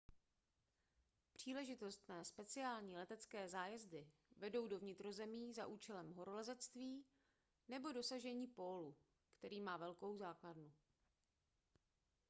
příležitostné speciální letecké zájezdy vedou do vnitrozemí za účelem horolezectví nebo dosažení pólu který má velkou základnu